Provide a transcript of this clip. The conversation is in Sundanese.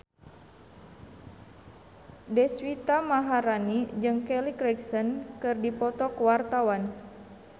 Deswita Maharani jeung Kelly Clarkson keur dipoto ku wartawan